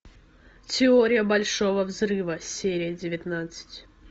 теория большого взрыва серия девятнадцать